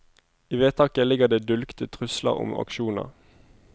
I vedtaket ligger det dulgte trusler om aksjoner.